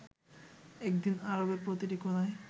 একদিন আরবের প্রতিটি কোণায়